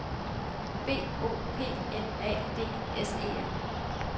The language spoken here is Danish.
B O P L A D S E N